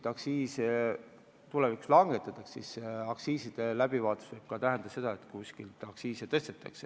Ikka küsitakse, kas aktsiise mujal langetatakse, aga aktsiiside muutmine võib ka tähendada seda, et neid kuskil tõstetakse.